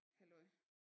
Halløj